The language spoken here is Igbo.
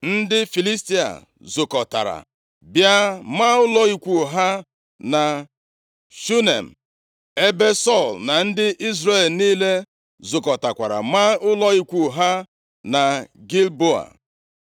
Ndị Filistia zukọtara, bịa maa ụlọ ikwu ha na Shunem, ebe Sọl na ndị Izrel niile zukọtakwara maa ụlọ ikwu ha na Gilboa.